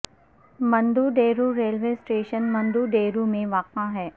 مندو Dero railway station Mando Dero میں واقع ہے